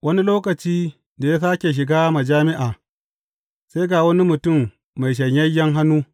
Wani lokaci, da ya sāke shiga majami’a, sai ga wani mutum mai shanyayyen hannu.